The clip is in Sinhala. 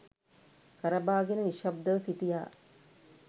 කරබාගෙන නිශ්ශබ්දව සිටියා.